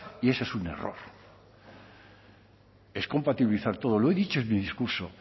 y eso es un error es compatibilizar todo lo he dicho en mi discurso